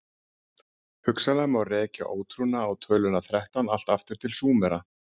hugsanlega má rekja ótrúna á töluna þrettán allt aftur til súmera